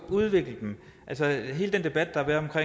at udvikle dem altså hele den debat der har